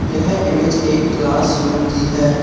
यह इमेज एक क्लासरूम की है।